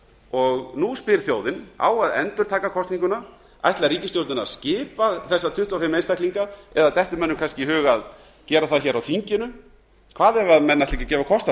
og nú spyr þjóðin á að endurtaka kosninguna ætlar ríkisstjórnin að skipa þessa tuttugu og fimm einstaklinga eða dettur mönnum kannski í hug að gera það hér á þinginu hvað ef menn ætla ekki að gefa kost